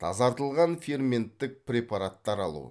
тазартылған ферменттік препараттар алу